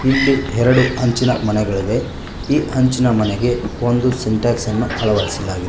ಇಲ್ಲಿ ಎರಡು ಹಂಚಿನ ಮನೆಗಳಿವೆ ಈ ಹಂಚಿನ ಮನೆಗೆ ಒಂದು ಸಿಂಟ್ಯಾಕ್ಸ್ ಅನ್ನು ಅಳವಡಿಸಲಾಗಿದೆ.